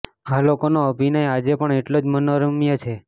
આ લોકોનો અભિનય આજે પણ એટલો જ મનોરમ્ય છે